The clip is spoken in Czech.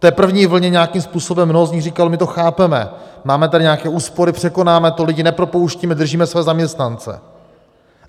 K té první vlně nějakým způsobem mnoho z nich říkalo, my to chápeme, máme tady nějaké úspory, překonáme to, lidi nepropouštíme, držíme své zaměstnance.